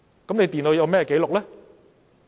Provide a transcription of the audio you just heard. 電腦會有甚麼紀錄？